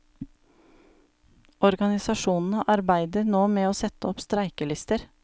Organisasjonene arbeider nå med å sette opp streikelister.